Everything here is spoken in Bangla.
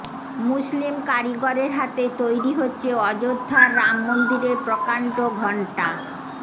মুসলিম কারিগরের হাতে তৈরি হচ্ছে অযোধ্যার রাম মন্দিরের প্রকাণ্ড ঘন্টা